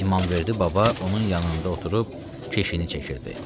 İmamverdi baba onun yanında oturub keşini çəkirdi.